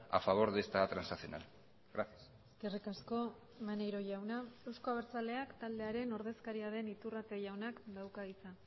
a favor de esta transaccional gracias eskerrik asko maneiro jauna euzko abertzaleak taldearen ordezkaria den iturrate jaunak dauka hitza